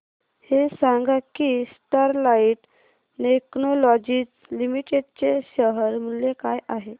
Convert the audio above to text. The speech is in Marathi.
हे सांगा की स्टरलाइट टेक्नोलॉजीज लिमिटेड चे शेअर मूल्य काय आहे